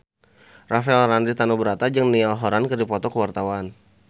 Rafael Landry Tanubrata jeung Niall Horran keur dipoto ku wartawan